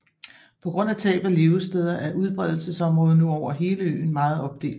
På grund af tab af levesteder er udbredelsesområdet nu over hele øen meget opdelt